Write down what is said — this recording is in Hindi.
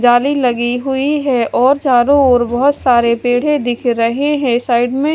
जाली लगी हुई है और चारों ओर बहोत सारे पेढ़े दिख रहे हैं साइड में --